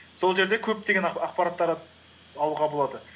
сол жерде көптеген ақпараттар ы алуға болады